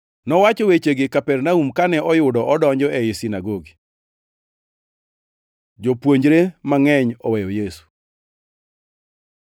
Nowacho wechegi Kapernaum kane oyudo opuonjo ei sinagogi. Jopuonjre mangʼeny oweyo Yesu